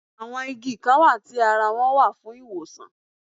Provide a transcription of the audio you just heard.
Àwọn Igi Kan wà tí ara wọn wà fún ìwòsàn